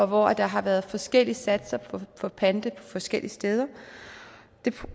hvor der har været forskellige satser for panter på forskellige steder